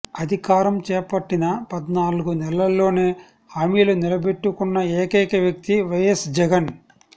అధికారం చేపట్టిన పద్నాలుగు నెలల్లోనే హామీలు నిలబెట్టుకున్న ఏకైక వ్యక్తి వైఎస్ జగన్